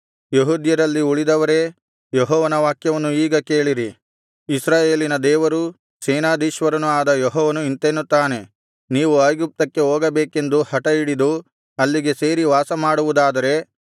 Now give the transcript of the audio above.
ಯೆಹೂದ್ಯರಲ್ಲಿ ಉಳಿದವರೇ ಯೆಹೋವನ ವಾಕ್ಯವನ್ನು ಈಗ ಕೇಳಿರಿ ಇಸ್ರಾಯೇಲಿನ ದೇವರೂ ಸೇನಾಧೀಶ್ವರನೂ ಆದ ಯೆಹೋವನು ಇಂತೆನ್ನುತ್ತಾನೆ ನೀವು ಐಗುಪ್ತಕ್ಕೆ ಹೋಗಬೇಕೆಂದು ಹಟಹಿಡಿದು ಅಲ್ಲಿಗೆ ಸೇರಿ ವಾಸಮಾಡುವುದಾದರೆ